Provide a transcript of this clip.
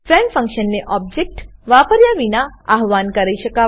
friend ફંક્શનને object વાપર્યા વિના આવ્હાન કરી શકાય છે